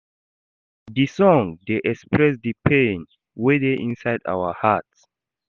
Dis song dey express di pain wey dey inside our heart.